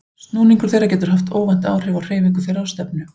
Snúningur þeirra getur haft óvænt áhrif á hreyfingu þeirra og stefnu.